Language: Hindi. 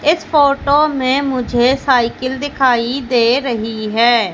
इस फोटो में मुझे साइकिल दिखाई दे रही है।